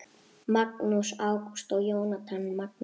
Magnús Ágúst og Jónatan Magni